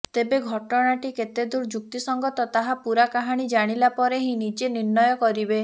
ତେବେ ଘଟଣାଟି କେତେଦୂର ଯୁକ୍ତିସଂଗତ ତାହା ପୂରା କାହାଣୀ ଜାଣିଲା ପରେ ହିଁ ନିଜେ ନିର୍ଣ୍ଣୟ କରିବେ